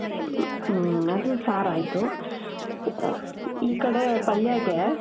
ಹ್ಮ್ಅದೂ sir ಆಯ್ತು. ಆ, ಈ ಕಡೇ ಪಲ್ಯಾಗೆ,